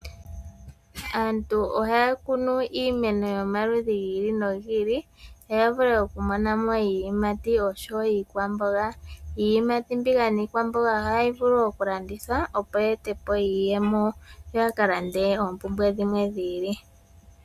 Aantu ohaya kunu iimeno yomaludhi gi ili nogi ili, opo ya vule okumona mo iiyimati osho wo iikwamboga. Iiyimati mbika niikwamboga ohayi vulu okulandithwa opo yi ete po iiyemo, yo ya ka lande oompumbwe dhimwe dhi ili.